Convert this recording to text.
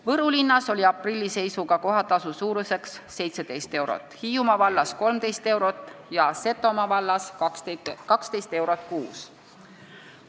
Võru linnas oli aprilli seisuga kohatasu 17 eurot, Hiiumaa vallas 13 eurot ja Setomaa vallas 12 eurot kuus.